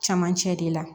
Cɛmancɛ de la